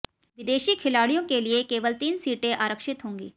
विदेशी खिलाड़ियों के लिए केवल तीन सीटें आरक्षित होंगी